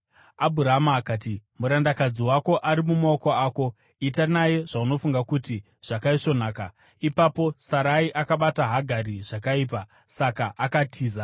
Abhurama akati, “Murandakadzi wako ari mumaoko ako. Ita naye zvaunofunga kuti zvakaisvonaka.” Ipapo Sarai akabata Hagari zvakaipa; saka akatiza.